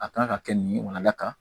A kan ka kɛ nin wala ka